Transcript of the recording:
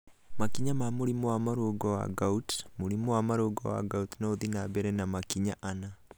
Makinya ma mũrimũ wa marũngo wa gout:mũrimũ wa marũngo wa gout no ũthiĩ na mbere na makinya ana.